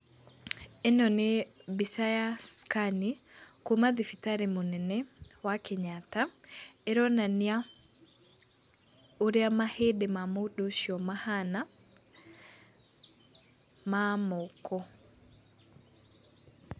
ĩno nĩ mbica ya scan ,kuuma thibitarĩ mũnene wa Kenyatta, ĩronania ũrĩa mahĩndĩ ma mũndũ ũcio mahaana, ma moko.